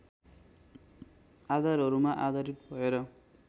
आधारहरूमा आधारित भएर